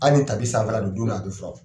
Hali ni tapi sanfɛra don, don ɔ a b fura wo.